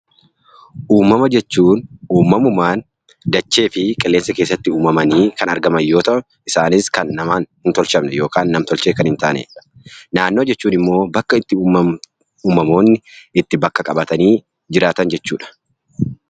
Uumama jechuun uumamumaan dachee fi qilleensa keessatti uumamanii kan argaman yoo ta'u isaanis namtolchee kan hin taanedha. Naannoo jechuun immoo bakka uummamni bakka qabatanii jiraatan jechuudha.